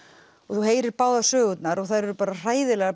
og þú heyrir báðar sögurnar og þær eru hræðilegar